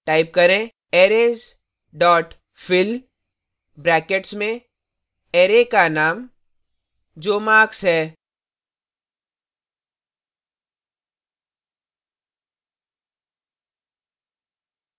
type करें arrays dot fill brackets में arrays का name जो marks है